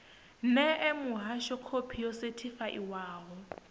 ṋee muhasho khophi yo sethifaiwaho